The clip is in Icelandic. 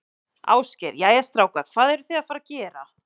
Ásgeir: Jæja, strákar, hvað eruð þið að fara að gera?